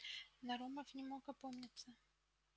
нарумов не мог опомниться